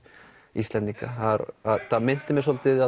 Íslendinga þetta minnti mig svolítið